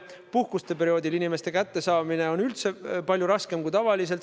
Puhkuste perioodil on inimeste kättesaamine üldse palju raskem kui tavaliselt.